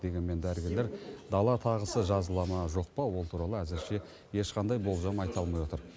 дегенмен дәрігерлер дала тағысы жазыла ма жоқ па ол туралы әзірше ешқандай болжам айта алмай отыр